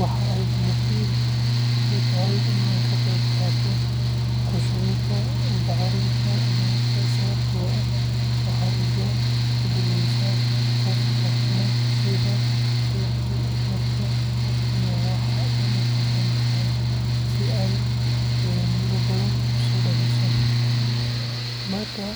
Waxaa aad muhiim ii ah in aan ka qayb qaato ku shubidda bacrinta beerta sababtoo ah waxay iga dhigaysaa qof fahmaya sida dhirtu u korto iyo waxa ay u baahan tahay si ay miro badan u dhaliso. Markaan